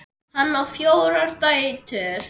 Hann á fjórar dætur.